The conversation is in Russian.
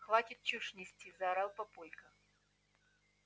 хватит чушь нести заорал папулька